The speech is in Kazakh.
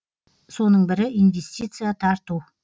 соның бірі инвестиция тарту